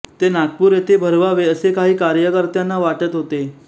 ते नागपूर येथे भरवावे असे काही कार्यकर्त्यांना वाटत होते